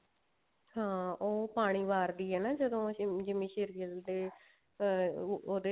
ਹਾਂ ਉਹ ਪਾਣੀ ਵਰਦੀ ਆ ਨਾ ਜਦੋਂ ਜਿੰਮੀ ਸ਼ੇਰ ਗਿੱਲ ਦੇ ਅਹ ਉਹਦੇ